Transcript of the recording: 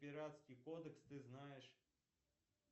пиратский кодекс ты знаешь